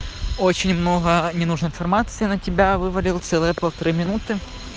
очень много ненужной информации на тебя вывалил целые полтора минуты